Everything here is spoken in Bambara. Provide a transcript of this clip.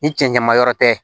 Ni cɛncɛnma yɔrɔ tɛ